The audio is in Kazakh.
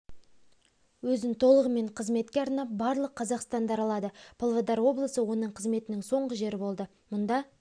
өзін толығымен қызметке арнап барлық қазақстанды аралады павлодар облысы оның қызметінің соңғы жері болды мұнда